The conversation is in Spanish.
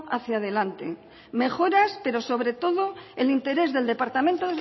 hacia delante mejoras pero sobretodo el interés del departamento